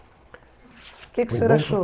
O que que o senhor achou?